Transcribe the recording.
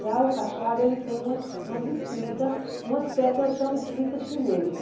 Já o cachara, ele tem umas umas escritas, uma espécie, eu chamo de escrita chinesa.